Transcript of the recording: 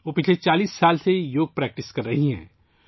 وہ گزشتہ 40 سالوں سے یوگا کی مشق کر رہی ہیں